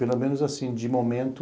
Pelo menos assim, de momento,